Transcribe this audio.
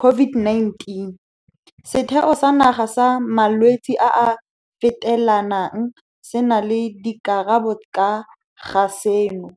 COVID-19? Setheo sa Naga sa Malwetse a a Fetelanang se na le dikarabo ka ga seno.